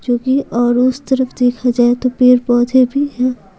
जो कि और उस तरफ देखा जाए तो पेड़ पौधे भी हैं।